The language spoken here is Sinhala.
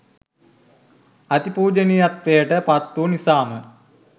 අති පූජනීයත්වයට පත් වූ නිසාම